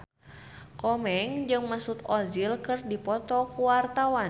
Komeng jeung Mesut Ozil keur dipoto ku wartawan